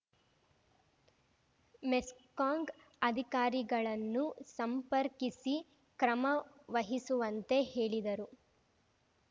ಮೆಸ್ಕಾಂಗ್ ಅಧಿಕಾರಿಗಳನ್ನು ಸಂಪರ್ಕಿಸಿ ಕ್ರಮವಹಿಸುವಂತೆ ಹೇಳಿದರು